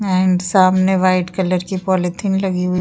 and सामने white colour की polythene लगी हुई --